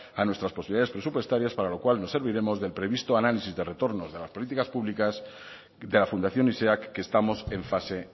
a nuestras posibilidades presupuestarias para lo cual nos serviremos del previsto análisis del retorno de las políticas públicas de la fundación que estamos en fase